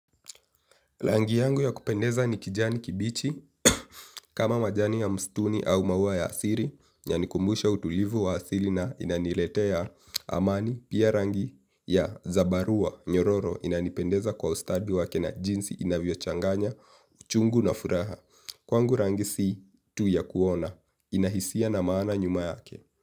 Rangi yangu ya kupendeza ni kijani kibichi kama majani ya msituni au maua ya asili inanikumbusha utulivu wa asili na inaniletea amani. Pia rangi ya zabarua, nyororo inanipendeza kwa ustadi wake na jinsi inavyo changanya, uchungu na furaha. Kwangu rangi si tu ya kuona, ina hisia na maana nyuma yake.